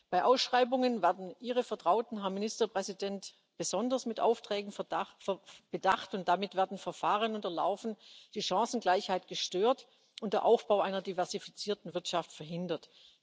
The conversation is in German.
Bei Ausschreibungen werden Ihre Vertrauten, Herr Ministerpräsident, besonders mit Aufträgen bedacht, und damit werden Verfahren unterlaufen, die Chancengleichheit gestört und der Aufbau einer diversifizierten Wirtschaft verhindert.